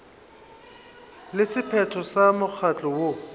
le sephetho sa mokgatlo woo